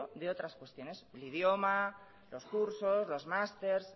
de otras cuestiones de idioma los cursos los masters